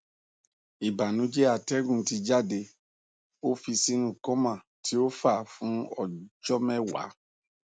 ibanujẹ atẹgun ti jade o fi sinu coma ti o fa fun ọjọ mẹwa